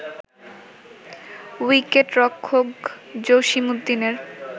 উইকেটরক্ষক জসীম উদ্দিনের